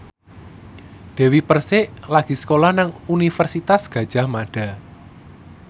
Dewi Persik lagi sekolah nang Universitas Gadjah Mada